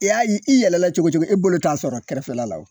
I y'a i yɛlɛlala cogo cogo e bolo t'a sɔrɔ kɛrɛfɛ la